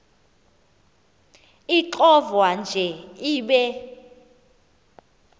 ixovwa nje ibe